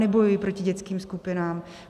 Nebojuji proti dětským skupinám.